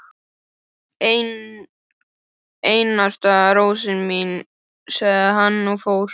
Einasta rósin mín, sagði hann og fór.